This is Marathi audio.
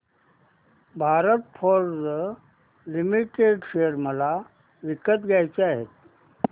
भारत फोर्ज लिमिटेड शेअर मला विकत घ्यायचे आहेत